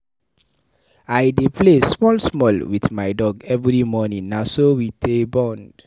I dey play small-small wit my dog every morning, na so we dey bond.